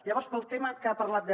llavors pel tema que ha parlat de